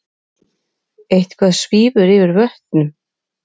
Eitthvað svífur yfir vötnum